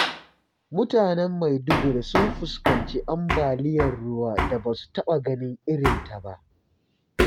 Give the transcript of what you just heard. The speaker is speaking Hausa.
Mutane Maiduguri sun fuskanci ambaliyar ruwan da ba su taɓa ganin irinta ba.